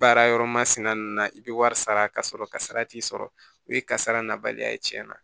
Baara yɔrɔ masina nunnu na i bɛ wari sara ka sɔrɔ kasara t'i sɔrɔ o ye kasara nabaliya ye tiɲɛna